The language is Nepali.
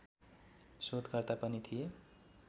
शोधकर्ता पनि थिए